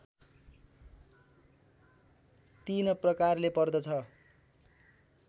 तीन प्रकारले पर्दछ